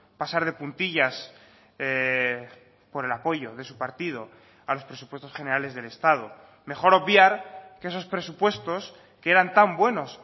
pasar de puntillas por el apoyo de su partido a los presupuestos generales del estado mejor obviar que esos presupuestos que eran tan buenos